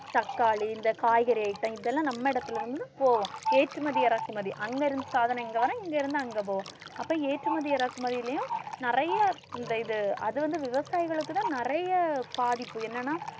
தக்காளி இந்த காய்கறி item இதெல்லாம் நம்ம இடத்தில வந்து இப்போ ஏற்றுமதி இறக்குமதி அங்க இருந்து இங்க வர இங்க இருந்து அங்க போக அப்ப ஏற்றுமதி இறக்குமதிலயும் நிறைய இந்த இது அது வந்து விவசாயிகளுக்குதான் நிறைய பாதிப்பு என்னன்னா